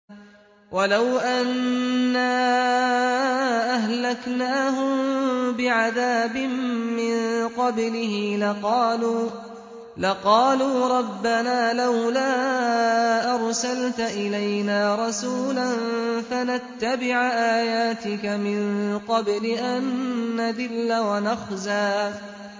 وَلَوْ أَنَّا أَهْلَكْنَاهُم بِعَذَابٍ مِّن قَبْلِهِ لَقَالُوا رَبَّنَا لَوْلَا أَرْسَلْتَ إِلَيْنَا رَسُولًا فَنَتَّبِعَ آيَاتِكَ مِن قَبْلِ أَن نَّذِلَّ وَنَخْزَىٰ